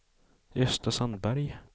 Gösta Sandberg